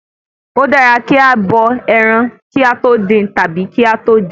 Ó dára kí a bọ ẹran kí a tó dín tàbí kí a tó jẹ ẹ́